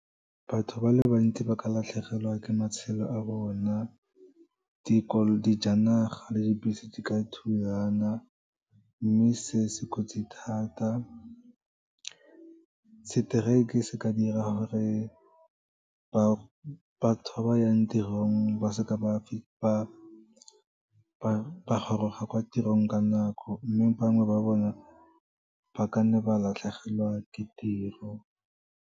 Batho ba le bantsi ba ka latlhegelwa ke matshelo a bona, dijanaga le dibese di ka thulana, mme se se kotsi thata. Seteraeke se ka dira gore batho ba ba yang tirong ba seka ba goroga kwa tirong ka nako, mme bangwe ba bona ba kanne ba latlhegelwa ke tiro.